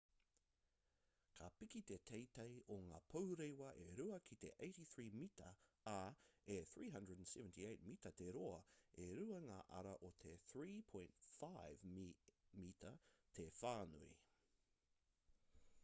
ka piki te teitei o ngā pourewa e rua ki te 83 mita ā e 378 mita te roa e rua ngā ara o te 3.50 m te whānui